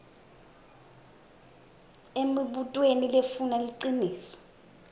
emibutweni lefuna liciniso